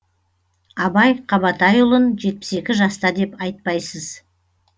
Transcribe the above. абай қабатайұлын жетпіс екі жаста деп айтпайсыз